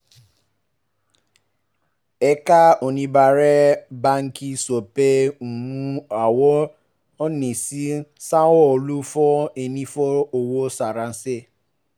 ẹ̀ka oníbàárà báńkì sọ pé um àwọn ò ní san owó fún ẹni tó fi owó ránṣẹ́